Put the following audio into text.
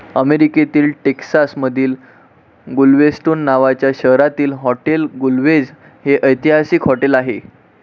अमेरीकेतील टेक्सास मधिल गुलवेस्टोन नावाच्या शहरातील हॉटेल गुलवेझ हे ऐतिहसिक हॉटेल आहे.